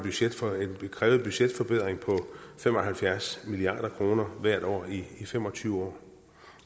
krævet budgetforbedring på fem og halvfjerds milliard kroner hvert år i fem og tyve år